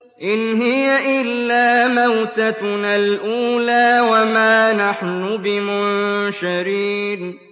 إِنْ هِيَ إِلَّا مَوْتَتُنَا الْأُولَىٰ وَمَا نَحْنُ بِمُنشَرِينَ